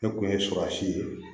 Ne kun ye surasi ye